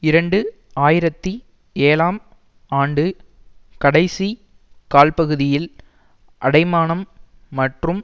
இரண்டு ஆயிரத்தி ஏழாம் ஆண்டு கடைசி கால்பகுதியில் அடைமானம் மற்றும்